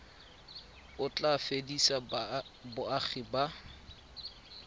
o tla fedisa boagi ba